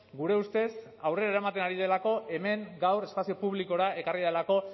gure ustez aurrera eramaten ari delako hemen gaur espazio publikora ekarri delako